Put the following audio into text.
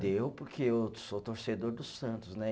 Deu, porque eu sou torcedor do Santos, né?